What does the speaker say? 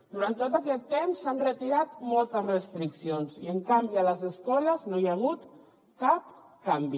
durant tot aquest temps s’han retirat moltes restriccions i en canvi a les escoles no hi ha hagut cap canvi